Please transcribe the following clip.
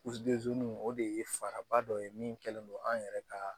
o de ye faraba dɔ ye min kɛlen do an yɛrɛ ka